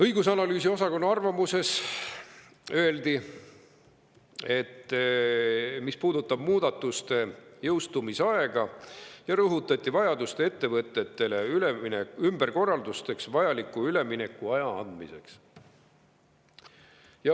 Õigus‑ ja analüüsiosakonna arvamuses rõhutati ka, mis puudutab muudatuste jõustumise aega, vajadust anda ettevõtetele vajaminev üleminekuaeg ümberkorralduste tegemiseks.